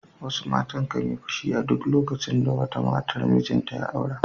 Wasu matan kan yi fushi a duk lokacin da wata matar mijinta ya aura.